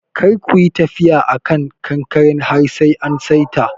Kar kuyi tafiya a kan kankaren har sai an saita.